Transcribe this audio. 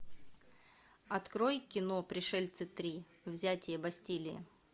открой кино пришельцы три взятие бастилии